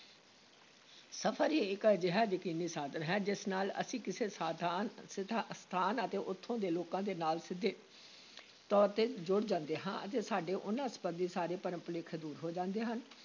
ਸਫ਼ਰ ਹੀ ਇਕ ਅਜਿਹਾ ਯਕੀਨੀ ਸਾਧਨ ਹੈ, ਜਿਸ ਨਾਲ ਅਸੀਂ ਕਿਸੇ ਸਥਾਨ ਸਥਾ ਸਥਾਨ ਅਤੇ ਉੱਥੋਂ ਦੇ ਲੋਕਾਂ ਦੇ ਨਾਲ ਸਿੱਧੇ ਤੌਰ ‘ਤੇ ਜੁੜ ਜਾਂਦੇ ਹਾਂ ਅਤੇ ਸਾਡੇ ਉਨ੍ਹਾਂ ਸੰਬੰਧੀ ਸਾਰੇ ਭਰਮ-ਭੁਲੇਖੇ ਦੂਰ ਹੋ ਜਾਂਦੇ ਹਨ।